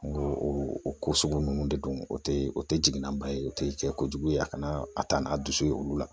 N ko o ko sugu ninnu de don o tɛ o tɛ jiginanba ye o tɛ cɛ kojugu ye a kana a ta n'a dusu ye olu la